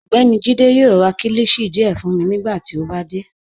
Ọgbẹ́ni Jíde yoo rá kílíshì díẹ̀ fun mi nigbàtí ó bá dé.